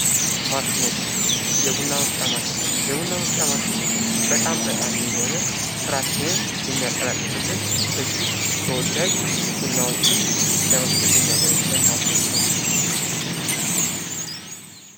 ማሸኖች የቡና መፍጫ ማሽን የቡና መፍጫ ማሽን በጣም ጠቃሚ የሆነ ስራችንን የሚያቀላጥፍን እጅግ ተወዳጅ ቡናዎችን ለመፍጨት የሚያገለግለን ማሽን ነው።